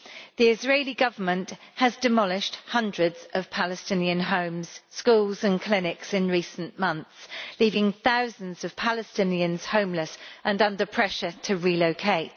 The Israeli Government has demolished hundreds of Palestinian homes, schools and clinics in recent months, leaving thousands of Palestinians homeless and under pressure to relocate.